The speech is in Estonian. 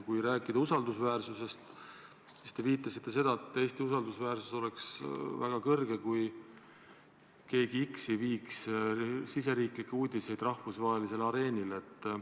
Kui rääkida usaldusväärsusest, siis te viitasite, et Eesti usaldusväärsus oleks väga suur, kui keegi X ei viiks riigisiseseid uudiseid rahvusvahelisele areenile.